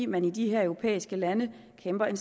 man i de her europæiske lande kæmper en